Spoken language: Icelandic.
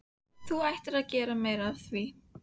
Þú ættir að gera meira að því.